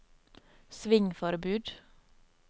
svingforbud